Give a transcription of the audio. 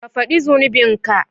Ka fadi zunubinka.